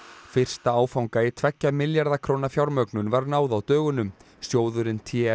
fysta áfanga í tveggja milljarða fjármögnun var náð á dögunum sjóðurinn